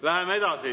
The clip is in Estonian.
Läheme edasi.